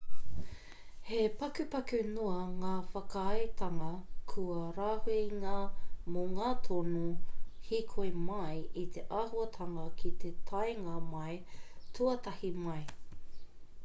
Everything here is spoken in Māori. he pakupaku noa ngā whakaaetanga kua rāhuingia mō ngā tono hīkoi-mai i te āhuatanga ki te taenga mai tuatahi mai